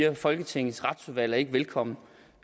at folketingets retsudvalg ikke var velkommen